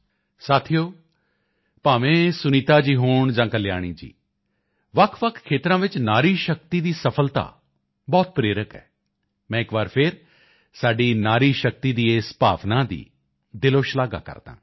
ਸਾਥੀਓ ਭਾਵੇਂ ਸੁਨੀਤਾ ਜੀ ਹੋਣ ਜਾਂ ਕਲਿਆਣੀ ਜੀ ਵੱਖਵੱਖ ਖੇਤਰਾਂ ਵਿੱਚ ਨਾਰੀ ਸ਼ਕਤੀ ਦੀ ਸਫਲਤਾ ਬਹੁਤ ਪ੍ਰੇਰਕ ਹੈ ਮੈਂ ਇਕ ਵਾਰ ਫਿਰ ਸਾਡੀ ਨਾਰੀ ਸ਼ਕਤੀ ਦੀ ਇਸ ਭਾਵਨਾ ਦੀ ਦਿਲੋਂ ਸ਼ਲਾਘਾ ਕਰਦਾ ਹਾਂ